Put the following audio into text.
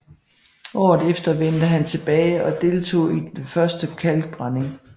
Året efter vendte han tilbage og deltog i den første kalkbrænding